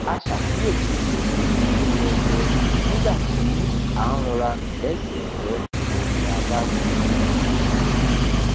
a ṣàkíyèsí onírúurú ẹyẹ nígbà tí à ń rọra rìn lẹgbẹẹ omi adágún